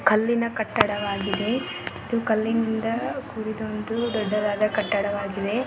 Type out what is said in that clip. ಕಲ್ಲಿನ ಕಟ್ಟಡವಾಗಿದೆ ಇದು ಕಲ್ಲಿನಿಂದ ಕುಡಿದ ಒಂದು ದೊಡ್ಡದಾದ ಕಟ್ಟಡವಾಗಿದೆ.